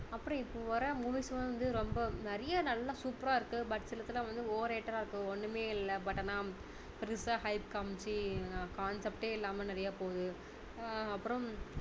அப்பறம் இப்போ வர்ற movies லாம் வந்து ரொம்ப நிறைய நல்ல super ரா இருக்கும் but சிலதுலாம் வந்து over rated டா இருக்கு ஒண்ணுமே இல்லை but ஆனா பெருசா hype காமிச்சி concept டே இல்லாம நிறைய போகுது ஆஹ் அப்பறம்